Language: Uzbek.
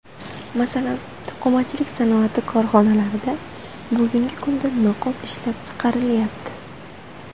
Masalan, to‘qimachilik sanoati korxonalarida bugungi kunda niqob ishlab chiqarilyapti.